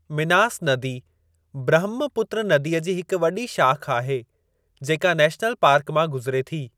मिनास नदी ब्रहमपुत्र नदीअ जी हिक वॾी शाख़ आहे, जेका नेशनल पार्क मां गुज़िरे थी।